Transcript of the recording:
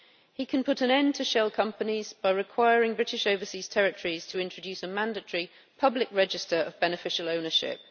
He can put an end to shell companies by requiring British overseas territories to introduce a mandatory public register of beneficial ownership.